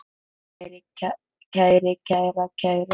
kæri, kæra, kæru